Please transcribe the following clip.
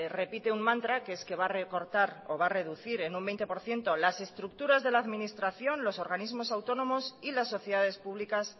repite un mantra que es que va a recortar o va a reducir en un veinte por ciento las estructuras de la administración los organismos autónomos y las sociedades públicas